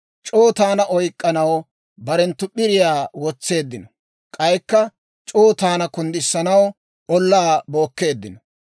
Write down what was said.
C'oo taana oyk'k'anaw barenttu p'iriyaa wotseeddino; k'aykka c'oo taana kunddisanaw ollaa bookkeeddino.